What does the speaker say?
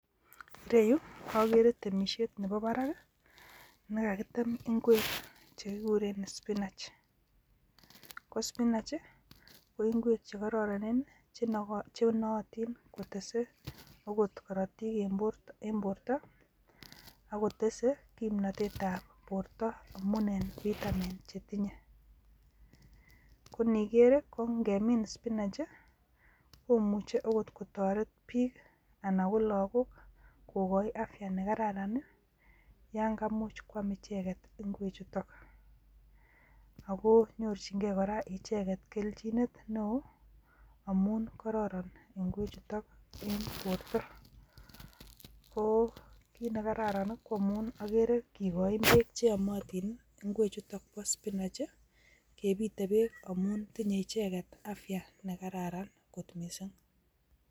Ireyu okere temishet nebo barak kii, nekakitem ingwek chekikuren [spinach] ko spinach chii ko ingwek chekororonen chenootin kotese okot korotok en borto ak kotese kipnotet ab borto amun en vitamin chetinye, ko inikere rii ko nkemii spinach komuche okot kotoret bik anan ko lokok kokoi afya nikararan nii yon kaimuch kwam icheket igwek chutok ako nyorchin gee koraa icheket keljinet neo amun kororon igwek chutok en borto, ko kit nekarara nii ko amun okere kikochin beek cheyomotin nii igwek chutok bo spinach kepiten beek amun tindoi icheket afya nekararan missing.